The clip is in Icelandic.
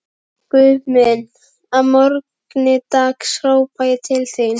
Guð minn, að morgni dags hrópa ég til þín